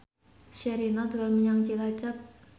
Sherina dolan menyang Cilacap